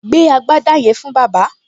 Gbé agbádá yẹn fún bàbá!